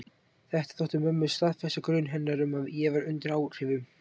Þetta þótti mömmu staðfesta grun hennar um að ég væri undir áhrifum.